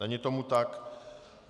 Není tomu tak.